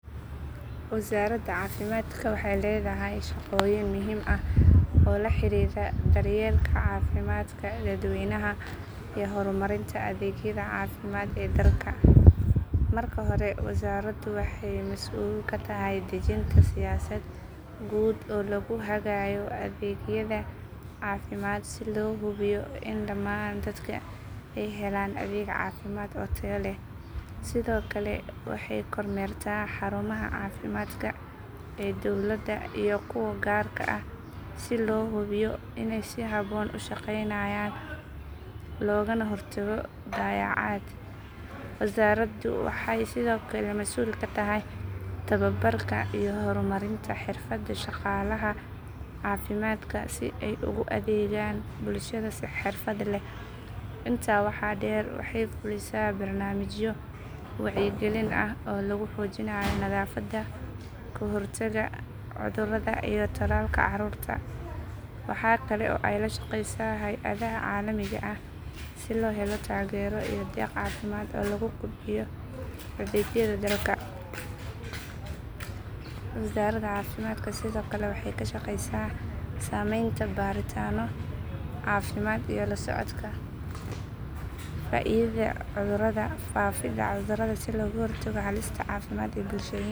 Wasaaradda caafimaadka waxay leedahay shaqooyin muhiim ah oo la xiriira daryeelka caafimaadka dadweynaha iyo horumarinta adeegyada caafimaad ee dalka. Marka hore wasaaraddu waxay mas’uul ka tahay dejinta siyaasad guud oo lagu hagayo adeegyada caafimaad si loo hubiyo in dhammaan dadka ay helaan adeeg caafimaad oo tayo leh. Sidoo kale waxay kormeertaa xarumaha caafimaadka ee dawladda iyo kuwa gaarka ah si loo hubiyo inay si habboon u shaqeynayaan loogana hortago dayacaad. Wasaaraddu waxay sidoo kale masuul ka tahay tababarka iyo horumarinta xirfadda shaqaalaha caafimaadka si ay ugu adeegaan bulshada si xirfad leh. Intaa waxaa dheer waxay fulisaa barnaamijyo wacyigelin ah oo lagu xoojinayo nadaafadda, ka hortagga cudurrada iyo tallaalka carruurta. Waxaa kale oo ay la shaqeysaa hay’adaha caalamiga ah si loo helo taageero iyo deeq caafimaad oo lagu kobcinayo adeegyada dalka. Wasaaradda caafimaadka sidoo kale waxay ka shaqeysaa samaynta baaritaanno caafimaad iyo la socodka faafidda cudurrada si looga hortago halista caafimaad ee bulshooyinka. Dhammaan shaqooyinkaas waxay u adeegayaan kor u qaadidda caafimaadka guud ee shacabka.